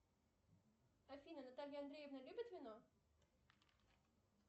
афина наталья андреевна любит вино